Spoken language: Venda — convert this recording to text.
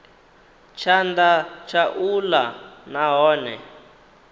tshanḓa tsha u ḽa nahone